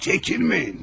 Çəkinməyin.